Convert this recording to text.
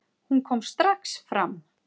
Hún kom strax fram.